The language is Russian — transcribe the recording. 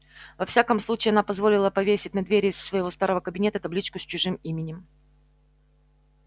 во всяком случае она позволила повесить на двери своего старого кабинета табличку с чужим именем